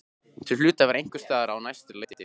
Þau hlutu að vera einhvers staðar á næsta leiti.